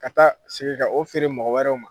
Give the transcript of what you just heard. Ka taa sigi ka o feere mɔgɔ wɛrɛw ma